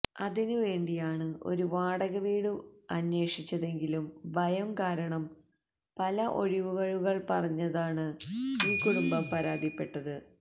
അതിനുവേണ്ടിയാണ് ഒരു വാടക വീട് അന്വേഷിച്ചതെങ്കിലും ഭയം കാരണം പല ഒഴിവു കഴിവുകള് പറഞ്ഞതയാണ് ഈ കുടുംബം പരാതിപ്പെട്ടത്